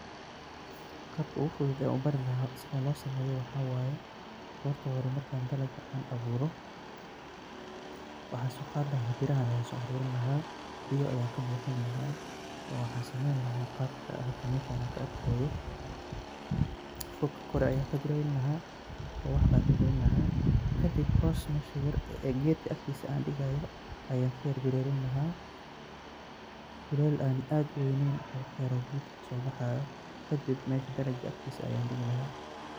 Qabka ogufudud e an ubari laha waxa waye. Horta marka hore markan an dalaga an aburo waxan soqadi laha birahan waxan kabuxini laha biyo oo waxan sameyni laha qabka an hada meeshan kaarkoyo furka koor ayan kabireyni laha oo waxban kagalini laha kadib meesha hoos ee gedka an digayo ayan kayara dulelini laha dulel an aad uweynen oo waxyaro gedka kasobaxayo kadib meesha daranka agtisa ayan digi laha.